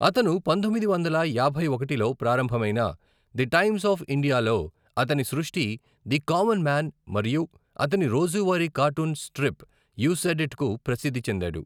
అతను పంతొమ్మిది వందల యాభై ఒకటిలో ప్రారంభమైన ది టైమ్స్ ఆఫ్ ఇండియాలో అతని సృష్టి, ది కామన్ మ్యాన్ మరియు అతని రోజువారీ కార్టూన్ స్ట్రిప్ యు సేడ్ ఇట్కు ప్రసిద్ధి చెందాడు.